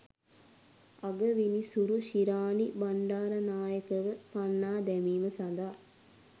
අගවිනිසුරු ශිරානී බණ්ඩාරනායකව පන්නා දැමීම සඳහා